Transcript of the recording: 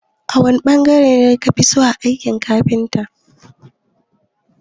wani bangare ne na aikin kafita kafiso?